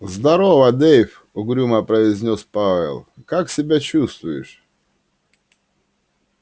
здорово дейв угрюмо произнёс пауэлл как себя чувствуешь